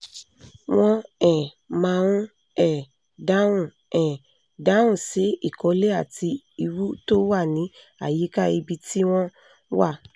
wọ́n um máa ń um dáhùn um dáhùn sí ìkọ̀lé àti ìwú tó wà ní àyíká ibi tí wọ́n wà